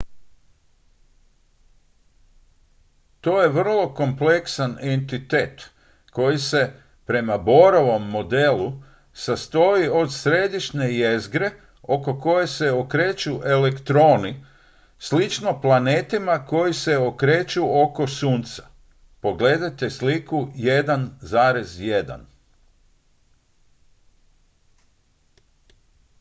to je vrlo kompleksan entitet koji se prema bohrovom modelu sastoji od središnje jezgre oko koje se okreću elektroni slično planetima koji se okreću oko sunca pogledajte sliku 1.1